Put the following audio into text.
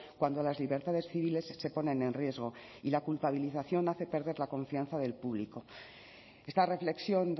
cuando las libertades civiles se ponen en riesgo y la culpabilización hace perder la confianza del público esta reflexión